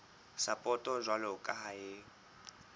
sapoto jwalo ka ha e